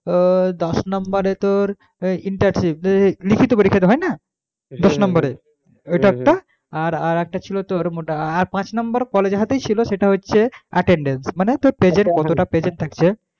ও দশ number এ তোর internship লিখিত পরীক্ষাটা হয় না ত্রিশ number এর ওটা একটা আর একটা ছিলো তোর মোট আর পাঁচ number college এর হাতেই ছিলো সেটা হচ্ছে attendence মানে তোর present কতটা present থাকছে